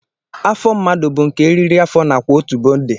Afọ mmadụ bụ nke eriri afọ nakwa otubo dị